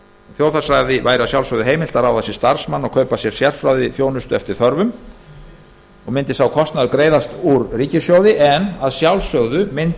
þjóðhagsráði væri að sjálfsögðu heimilt að ráða sér starfsmann og kaupa sér sérfræðiþjónustu eftir þörfum og mundi sá kostnaður greiðast úr ríkissjóði en að sjálfsögðu mundi